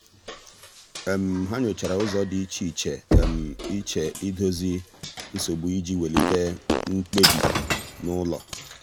há nyòchàrà ụ́zọ́ dị́ iche iche iche ídòzì nsogbu iji wèlíté mkpebi n’ụ́lọ́.